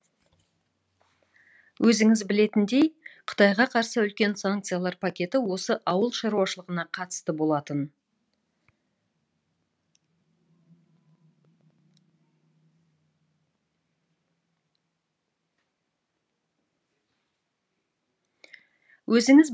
өзіңіз білетіндей қытайға қарсы үлкен санкциялар пакеті осы ауыл шаруашылығына қатысты болады